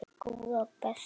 Góða besta!